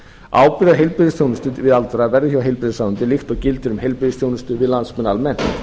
ábyrgð á heilbrigðisþjónustu við aldraða verði hjá heilbrigðisráðuneyti líkt og gildir um heilbrigðisþjónustu við landsmenn almennt